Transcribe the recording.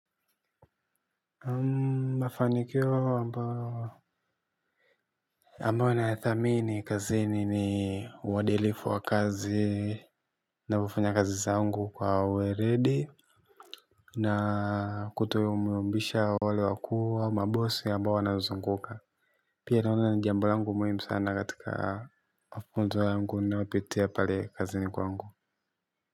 Mafanikio ambayo, ambayo nayathamini kazini ni uadilifu wa kazi na kufanya kazi zangu kwa uweledi. Na kutomyumbisha wale wakuu ama mabosi ambao wanazuzunguka. Pia naona ni jambo langu muhimu sana katika mafunzo yangu ninayopitia pale kazini kwangu.